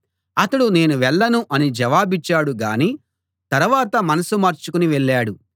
అతడు నేను వెళ్ళను అని జవాబిచ్చాడుగానీ తరవాత మనసు మార్చుకుని వెళ్ళాడు